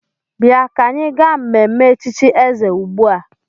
Bịa ka anyị gaa mmemme echichi eze ugbu a!